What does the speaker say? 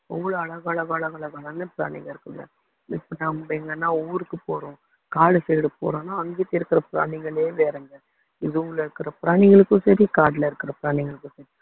அவ்வளவு அழகழகழகழகான பிராணிங்க இருக்குங்க இப்போ நம்ம எங்கனா ஊருக்கு போறோம் காடு side போறோன்னா அங்கிட்டு இருக்கிற பிராணிங்களே வேறங்க zoo ல இருக்கிற பிராணிங்களுக்கும் சரி காடுல இருக்கிற பிராணிங்களுக்கும் சரி